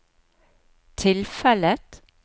tilfellet